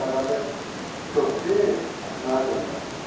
Xərarədə götürüb mənə göndərmişdi.